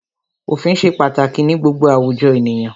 Òfin ṣe pàtàkì ní gbogbo àwùjọ ènìyàn.